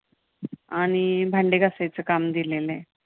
आणि, भांडे घासायचं काम दिलेलं.